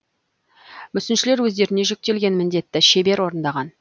мүсіншілер өздеріне жүктелген міндетті шебер орындаған